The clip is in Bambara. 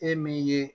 E min ye